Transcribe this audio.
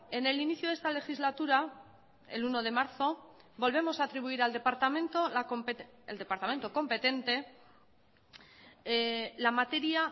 en el inicio de esta legislatura el uno de marzo volvemos a atribuir al departamento el departamento competente la materia